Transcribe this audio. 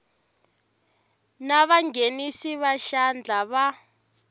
na vanghenisi va xandla va